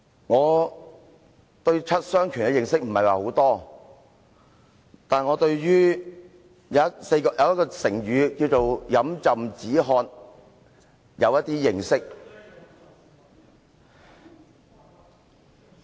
我對七傷拳的認識不太多，但我對"飲鴆止渴"這成語有一點認識。